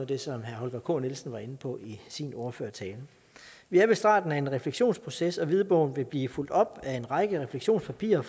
det som herre holger k nielsen var inde på i sin ordførertale vi er ved starten af en refleksionsproces og hvidbogen vil blive fulgt op af en række refleksionspapirer